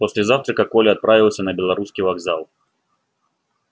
после завтрака коля отправился на белорусский вокзал